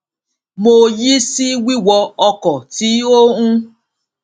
mo yí sí wíwọ ọkọ tí ó ń